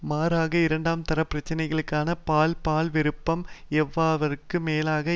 மாறாக இரண்டாம் தர பிரச்சினைகளான பால் பால் விருப்பம் எல்லாவற்றிற்கும் மேலாக